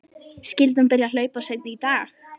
Skyldi hún byrja að hlaupa seinna í dag?